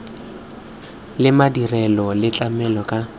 le madirelo le tlamela ka